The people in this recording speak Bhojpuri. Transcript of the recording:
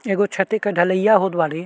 एगो छति क ढ़लैया होत बाड़े।